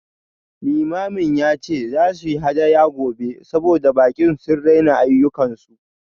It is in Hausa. Limamin ya ce za su yi hadaya gobe saboda baƙi sun raina ayyukansu